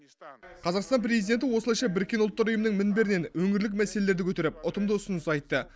қазақстан президенті осылайша біріккен ұлттар ұйымының мінберінен өңірлік мәселелерді көтеріп ұтымды ұсыныс айтты